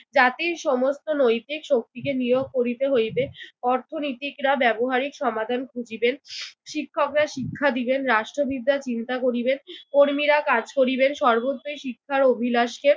জাতির সমস্ত নৈতিক শক্তিকে নিয়োগ করিতে হইবে। অর্থনীতিকরা ব্যবহারিক সমাধান খুঁজিবেন, শিক্ষকরা শিক্ষা দিবেন, রাষ্ট্রবিদরা চিন্তা করিবেন, কর্মীরা কাজ করিবেন সর্বত্রই শিক্ষার অভিলাষকে